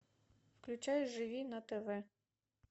включай живи на тв